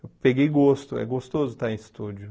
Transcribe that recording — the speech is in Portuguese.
Eu peguei gosto, é gostoso estar em estúdio.